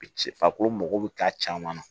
Ci farikolo mago bɛ k'a caman na